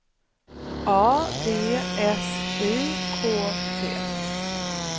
A V S I K T